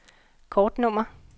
kortnummer